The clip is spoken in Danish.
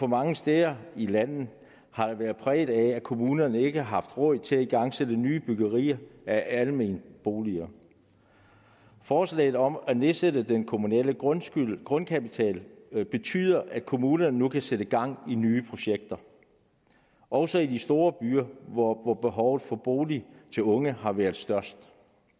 mange steder i landet har været præget af at kommunerne ikke har haft råd til at igangsætte nye byggerier af almene boliger forslaget om at nedsætte den kommunale grundkapital betyder at kommunerne nu kan sætte gang i nye projekter også i de store byer hvor hvor behovet for boliger til unge har været størst